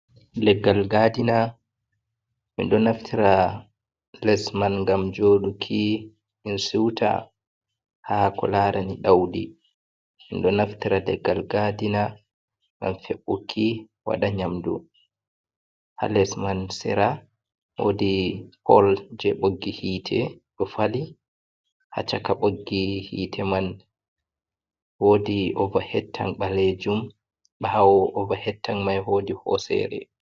Leggal gadina. Min ɗo naftira les man ngam joɗuki en siwta ha ko larani ɗaudi. Min ɗo naftara leggal gadina ngam febbuki waɗa, nyamdu ha les man, sera wodi pol je ɓoggi hite, ɗon fali hachaka ɓoggi hite man. Wodi ova hettan ɓalejum, ɓawo ova hettan mai wodi hosere.